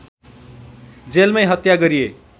जेलमै हत्या गरिए